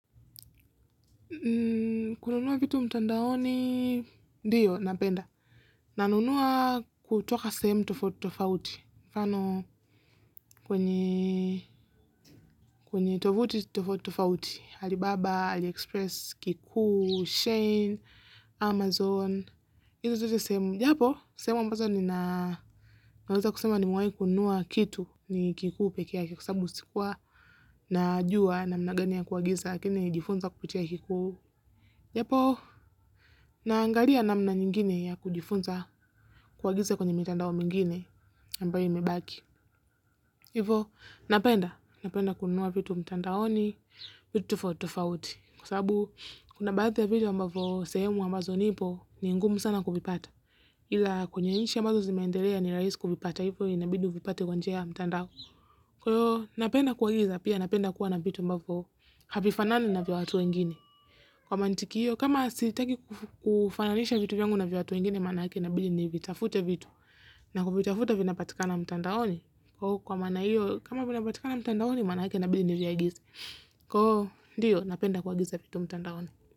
Kununua vitu mtandaoni, ndio, napenda. Nanunua kutoka sehemu tofauti, tofauti. Mfano, kwenye, kwenye tovuti, tofauti, Alibaba, Aliexpress, Kiku, Shane, Amazon. hizo ndizo sehemu. Japo, sehemu ambazo ni na, naweza kusema nimewai kununua kitu, ni Kiku peke kwasababu sikuwa najua namna gani ya kuagiza, lakini nijifunza kuputia kikuu. Japo, naangalia namna nyingine ya kujifunza kuagiza kwenye mitandao mingine ambayo imebaki. Hivo, napenda. Napenda kununua vitu mtandaoni vitu tofauti tofauti. Kwa sababu, kuna baadhi ya vitu ambavo sehemu ambazo nipo, ni ngumu sana kuvipata. Ila kwenye nchi ambazo zimeendelea ni rahisi kuzipata. Hivo, inabidi uvipate kwenye njia ya mtandao. Kwa hivyo, napenda kuagiza. Pia napenda kuwa na vitu ambavyo havifanani na vya watu wengine. Kwa mantiki hiyo, kama sitaki kufananisha vitu yangu na vya watu wengine, maana yake na ibidi ni vitafute vitu. Na kuvitafuta vina patikana mtandaoni. Kwa maana hio, kama vinapatikana mtandaoni, maana yake inabidi nivya agize. Kwa hivyo, ndio napenda kuagiza vitu mtandaoni.